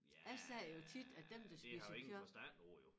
Ja det har jeg ingen forstand på jo